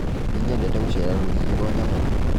Nĩnyendete gũcera rũriĩ rwa nyamũ